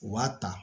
U b'a ta